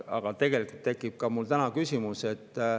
Aga tegelikult tekib mul küsimus.